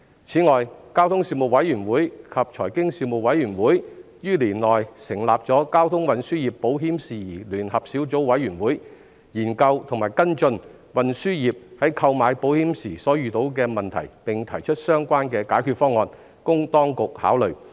此外，交通事務委員會及財經事務委員會在本年度成立了交通運輸業保險事宜聯合小組委員會，研究及跟進運輸業在購買保險時所遇到的問題，並提出相關的解決方案，供當局考慮。